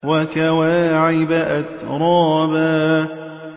وَكَوَاعِبَ أَتْرَابًا